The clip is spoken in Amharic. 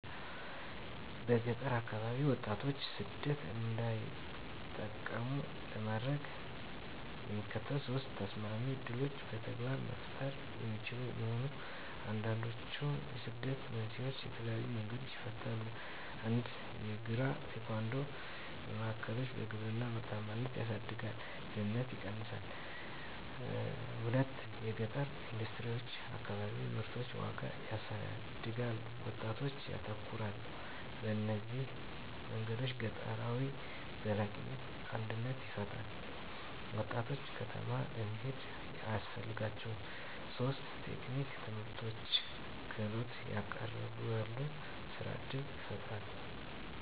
በገጠር አከባቢዎች ወጣቶች ሰደት እንዳይጠቀሙ ለማድረግ፣ የሚከተሉት ሶስት ተሰማሚ ዕድሎች በተግባር መፈጠሩ የሚችሉ መሆን፣ አንዱንድችዉ የስደትን መንስኤዎች በተለየዪ መንገዶች ይፈታል። 1 የእግራ-ቴኳንዶ ማዕከሎች _የግብርና ምርታማነትን ያሳድጋል፣ ድህነትን ይቀነሳል። 2 የገጠረ ኢንደስትሪዎች_ አከባቢዎች ምርቶችን ዋጋ ያሳድጋሉ፣ ወጣቶች ያተኮራሉ። በእነዚህ መንገዶች ገጠራዊ ዘላቂነት አድነት ሲፈጠራ፣ ወጣቶች ከተማ ለመሄድ አያስፈልጋቸውም ; 3 የቴክኒክ ትምህርትቤቶች _ክህሎትን ያቀረበሉ፣ የሥራ እድል ይፈጣራል።